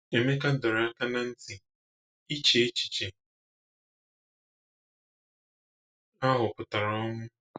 Emeka dọọrọ aka na ntị: “Ịche echiche ahụ pụtara ọnwụ.”